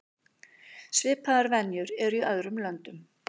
Svipaðar venjur eru í öðrum löndum.